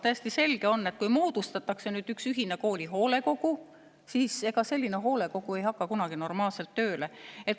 Täiesti selge on, et kui moodustatakse üks ühine kooli hoolekogu, siis ega selline hoolekogu ei hakka kunagi normaalselt tööle.